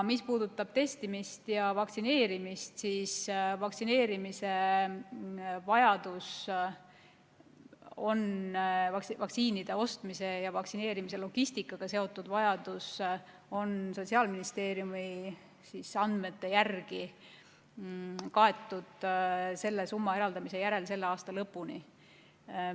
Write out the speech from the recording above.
Mis puudutab testimist ja vaktsineerimist, siis vaktsineerimise vajadus, vaktsiinide ostmise ja vaktsineerimise logistikaga seotud vajadus on Sotsiaalministeeriumi andmete järgi kaetud selle summa eraldamise järel selle aasta lõpuni.